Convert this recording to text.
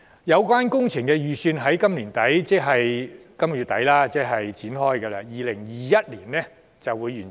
有關工程預將於今年年底展開，並於2021年完成。